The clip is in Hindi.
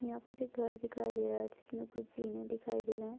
यहाँ पर एक घर दिखाई दे रहा है जिसमे कुछ जीने दिखाई दे रहा है।